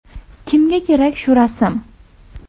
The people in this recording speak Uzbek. Kimga kerak shu rasm?